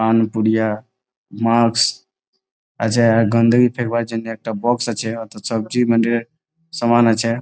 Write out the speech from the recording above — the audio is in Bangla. মাস্ক আছে। আর গন্দগী ফেলবার জন্য একটা বক্স আছে। ওতে সামান আছে।